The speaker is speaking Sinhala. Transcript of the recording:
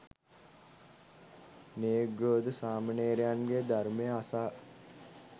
න්‍යග්‍රෝධ සාමණේරයන්ගෙන් ධර්මය අසා